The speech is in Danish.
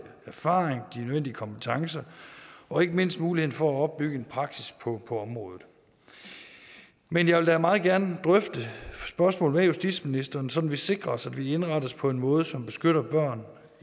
erfaring de nødvendige kompetencer og ikke mindst muligheden for at opbygge en praksis på området men jeg vil da meget gerne drøfte spørgsmålet med justitsministeren sådan at vi sikrer os at vi indretter os på en måde som beskytter børn